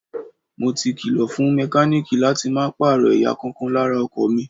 Mo ti kìlọ̀ fún mẹkáníìkì láti máa pààrọ̀ ẹ̀yà kọ̀ọ̀kan lára ọkọ̀ mi.